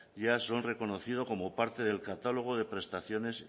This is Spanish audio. ya son reconocidos como parte del catálogo de prestaciones